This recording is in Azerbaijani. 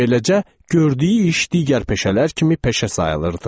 Beləcə, gördüyü iş digər peşələr kimi peşə sayılırdı.